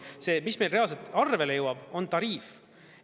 See, mis meil reaalselt arvele jõuab, on tariif.